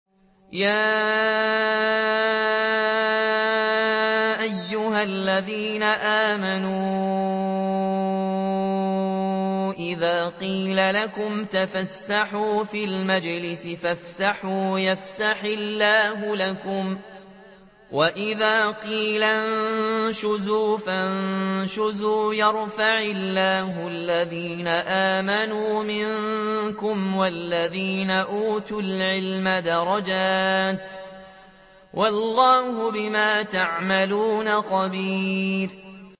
يَا أَيُّهَا الَّذِينَ آمَنُوا إِذَا قِيلَ لَكُمْ تَفَسَّحُوا فِي الْمَجَالِسِ فَافْسَحُوا يَفْسَحِ اللَّهُ لَكُمْ ۖ وَإِذَا قِيلَ انشُزُوا فَانشُزُوا يَرْفَعِ اللَّهُ الَّذِينَ آمَنُوا مِنكُمْ وَالَّذِينَ أُوتُوا الْعِلْمَ دَرَجَاتٍ ۚ وَاللَّهُ بِمَا تَعْمَلُونَ خَبِيرٌ